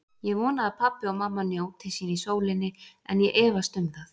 Ég vona að pabbi og mamma njóti sín í sólinni, en ég efast um það.